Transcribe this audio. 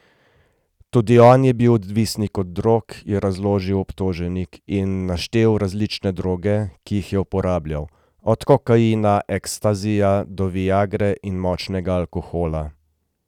Tudi on je bil odvisnik od drog, je razložil obtoženi, in naštel različne droge, ki jih je uporabljal, od kokaina, ekstazija do viagre in močnega alkohola.